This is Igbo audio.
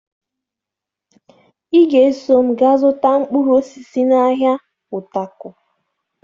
Ị ga-eso m gaa zụta mkpụrụ osisi n'ahịa Utako